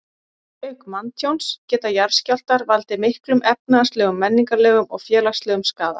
Auk manntjóns geta jarðskjálftar valdið miklum efnahagslegum, menningarlegum og félagslegum skaða.